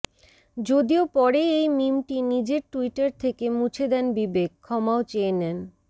যদিও পরে এই মিমটি নিজের ট্যুইটার থেকে মুছে দেন বিবেক ক্ষমাও চেয়ে নেন